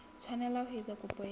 tshwanela ho etsa kopo ya